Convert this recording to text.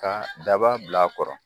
Ka daba bila kɔrɔ